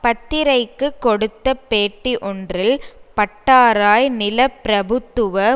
பத்திரிகைக்கு கொடுத்த பேட்டி ஒன்றில் பட்டாராய் நிலப்பிரபுத்துவ